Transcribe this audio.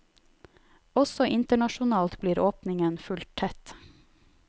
Også internasjonalt blir åpningen fulgt tett.